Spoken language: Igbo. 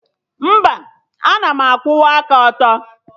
Mba, ana m ekwusi okwu ike